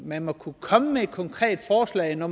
man må kunne komme med et konkret forslag når